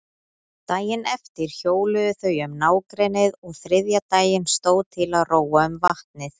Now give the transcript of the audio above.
Daginn eftir hjóluðu þau um nágrennið og þriðja daginn stóð til að róa um vatnið.